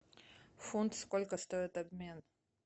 фунт сколько стоит обмен